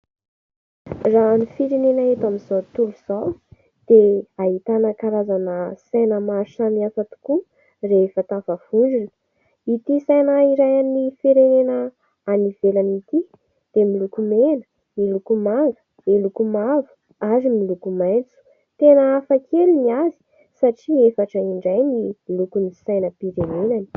Raha ny firenena eto amin'izao tontolo izao dia ahitana karazana saina maro samihafa tokoa rehefa tafavondrona. Ity saina iray an'ny firenena any ivelany ity dia miloko mena, miloko manga, miloko mavo ary miloko maitso. Tena hafa kely ny azy satria efatra indray ny lokon'ny sainam-pirenenany.